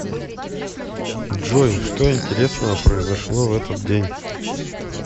джой что интересного произошло в этот день